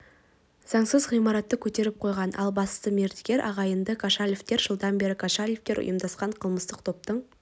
заңсыз ғимаратты көтеріп қойған ал бас мердігер ағайынды кошалевтер жылдан бері кошалевтер ұйымдасқан қылмыстық топтың